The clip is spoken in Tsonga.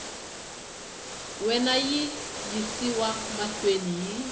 wena yi yisiwa mahlweni hi